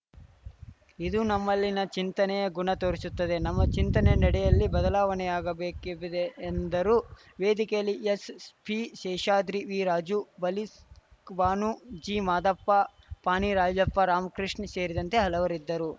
ಇದು ನಮ್ಮಲ್ಲಿನ ಚಿಂತನೆಯ ಗುಣ ತೋರಿಸುತ್ತದೆ ನಮ್ಮ ಚಿಂತನೆ ನಡೆಯಲ್ಲಿ ಬದಲಾವಣೆಯಾಗಬೇಕಿದೆ ಎಂದರು ವೇದಿಕೆಯಲ್ಲಿ ಎಸ್‌ಪಿ ಶೇಷಾದ್ರಿ ವಿರಾಜು ಬಲ್ಕೀಷ್‌ಬಾನು ಜಿ ಮಾದಪ್ಪ ಪಾಣಿ ರಾಜಪ್ಪ ರಾಮಕೃಷ್ಣ ಸೇರಿದಂತೆ ಹಲವರಿದ್ದರು